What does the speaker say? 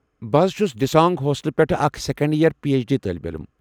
بہٕ حض چھُس دِسانٛگ ہوسٹلہٕ پٮ۪ٹھٕہٕ اكھ second year P H D طٲلب علم ۔